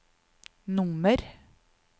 nummer